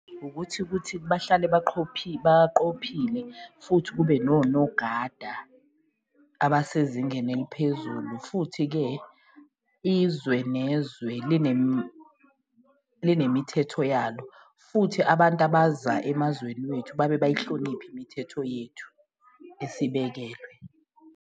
Ukuthi kuthi bahlale baqophile futhi kube nonogada abasezingeni eliphezulu futhi-ke, izwe nezwe linemithetho yalo, futhi abantu abaza emazweni wethu babe bayihloniphe imithetho yethu esiyibekelwe.